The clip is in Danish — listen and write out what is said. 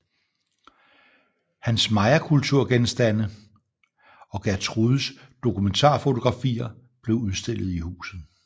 Hans mayakulturgenstande og Gertrudes dokumentarfotografier blev udstillet i huset